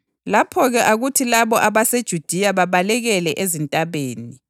Lapho-ke akuthi labo abaseJudiya babalekele ezintabeni.